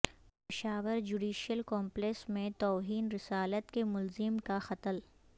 Peshawar judicial complex میں توہین رسالت کے ملزم کا قتل